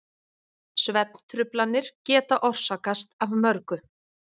Svefntruflanir geta orsakast af mörgu.